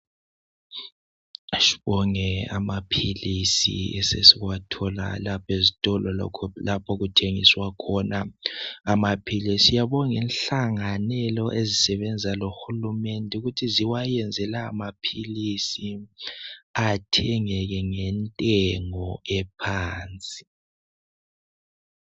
Sibonge amaphilisi esesiwathola lapha ezitolo lalapho okuthengiselwa sibonge inhlanganelo ezisebenza lohulumende ukuthi ziwayenze lawo maphilisi athengeke ngentengo ephansi.